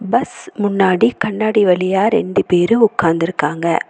Bus முன்னாடி கண்ணாடி வழியா ரெண்டு பேரு உக்காந்துருக்காங்க.